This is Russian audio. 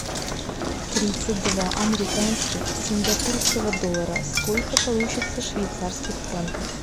тридцать два американских сингапурского доллара сколько получится швейцарских франков